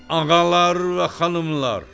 Ağalar və xanımlar!